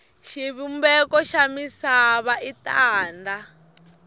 xivumbeko xa misava i tanda